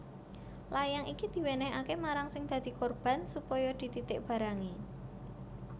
Layang iki diwènèhaké marang sing dadi korban supaya dititik barangé